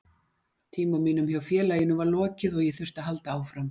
Tíma mínum hjá félaginu var lokið og ég þurfti að halda áfram.